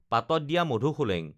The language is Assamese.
পাতত দিয়া মধুসোলেং